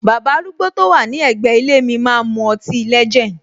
Baba arúgbó to wà ní ègbé ilé mi máa ń mu ọtí legend.